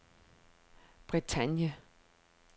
Bretagne